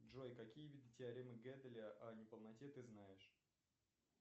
джой какие виды теоремы геделя о неполноте ты знаешь